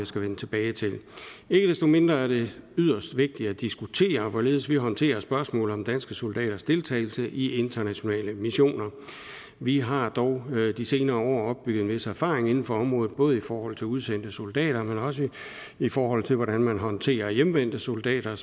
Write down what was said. skal vende tilbage til ikke desto mindre er det yderst vigtigt at diskutere hvorledes vi håndterer spørgsmål om danske soldaters deltagelse i internationale missioner vi har dog de senere år opbygget en vis erfaring inden for området både i forhold til udsendte soldater men også i forhold til hvordan man håndterer hjemvendte soldater